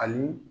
Ani